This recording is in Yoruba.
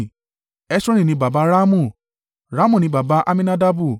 Hesroni ni baba Ramu, Ramu ni baba Amminadabu